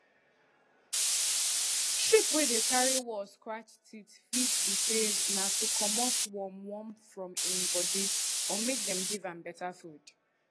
sheep wey dey carry wall scratch teeth fit be say na to comot worm worm from im body or make dem give am beta food